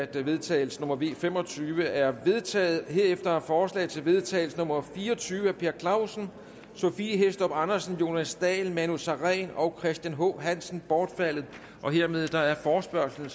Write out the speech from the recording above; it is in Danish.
til vedtagelse nummer v fem og tyve er vedtaget herefter er forslag til vedtagelse nummer v fire og tyve af per clausen sophie hæstorp andersen jonas dahl manu sareen og christian h hansen bortfaldet hermed er forespørgslen